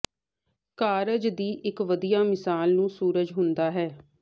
ਕਾਰਜ ਦੀ ਇੱਕ ਵਧੀਆ ਮਿਸਾਲ ਨੂੰ ਸੂਰਜ ਹੁੰਦਾ ਹੈ